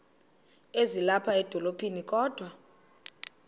ezilapha edolophini kodwa